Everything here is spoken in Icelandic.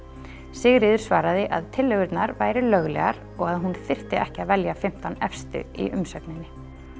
Sigríður svaraði að tillögurnar væru löglegar og að hún þyrfti ekki að velja fimmtán efstu í umsögninni